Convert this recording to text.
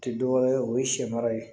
Tɛ dɔ wɛrɛ ye o ye sɛ mara ye